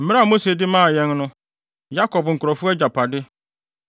mmara a Mose de maa yɛn no; Yakob nkurɔfo agyapade.